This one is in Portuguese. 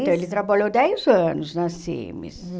isso? Então, ele trabalhou dez anos na Cimes.